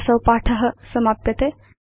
अत्र असौ पाठ समाप्यते